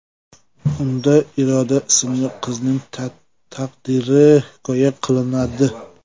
Unda Iroda ismli qizning taqdiri hikoya qilinadi.